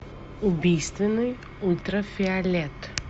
убийственный ультрафиолет